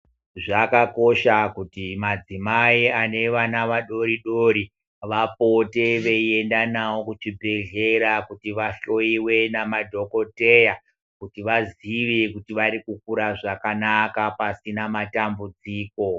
Zvakakosha kuti madzimai ane vana vadori dori vapote veienda nawo kuchibhedhlera kuti vahloiwe nemadhokodheya kuti vazive kuti varikukura zvakanaka apasina matambudziko.